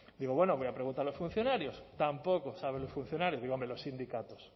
digo bueno voy a preguntar a los funcionarios tampoco saben los funcionarios digo hombre los sindicatos